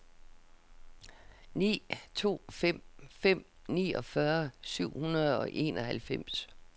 ni to fem fem niogfyrre syv hundrede og enoghalvfems